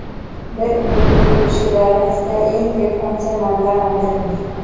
Bir undiruv ishi doirasida eng ko‘p qancha mablag‘ undirilgan?.